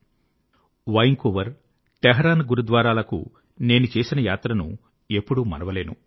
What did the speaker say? నేను Vancouver Vancouver Tehran గురుద్వారాలకు నేను చేసిన యాత్రను ఎప్పుడూ మరువలేను